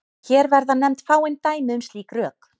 Hér verða nefnd fáein dæmi um slík rök.